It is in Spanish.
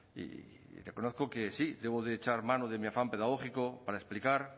y reconozco que sí debo de echar mano de mi afán pedagógico para explicar